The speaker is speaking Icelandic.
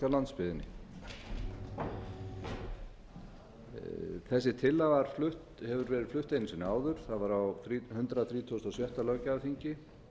á landsbyggðinni þessi tillaga hefur verið flutt einu sinni áður það var á hundrað þrítugasta og sjötta löggjafarþingi